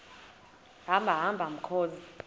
hamba hamba mkhozi